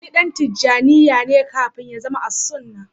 Ali ɗan Tijanniya ne kafin ya zama Al-suna.